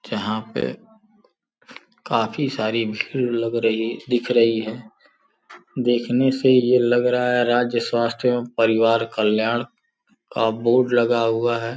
देखने से ये लग रहा है राज्य स्वास्थ्य एजहां पे काफी सारी भीड़ लग रही दिख रही हैवं परिवार कल्याण का बोर्ड लगा हुआ है।